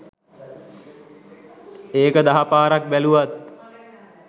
ඒක දහ පාරක් බැලුවත්